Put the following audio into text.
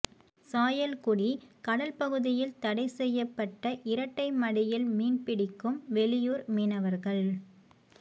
சாயல்குடி கடல் பகுதியில் தடை செய்யப்பட்ட இரட்டைமடியில் மீன் பிடிக்கும் வெளியூர் மீனவர்கள்